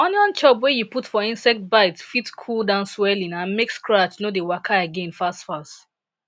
onion chop wey you put for insect bite fit cool down swelling and make scratch no dey waka again fastfas